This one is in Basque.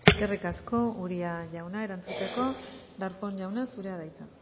eskerrik asko uria jauna erantzuteko darpón jauna zurea da hitza